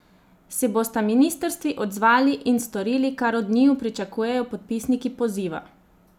Se bosta ministrstvi odzvali in storili, kar od njiju pričakujejo podpisniki poziva?